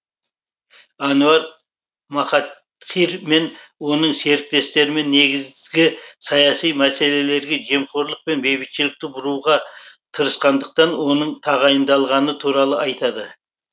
әнуар махатхир мен оның серіктестерімен негізгі саяси мәселелерге жемқорлық пен бейбітшілікті бұруға тырысқандықтан оның тағайындалғаны туралы айтады